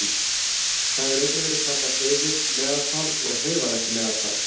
Það hefur einnig verið kallað hreyfið meðaltal og hreyfanlegt meðaltal.